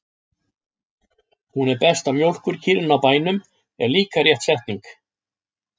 Hún er besta mjólkurkýrin á bænum, er líka rétt setning.